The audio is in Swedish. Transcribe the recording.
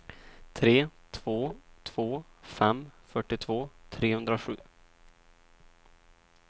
tre två två fem fyrtiotvå trehundrasju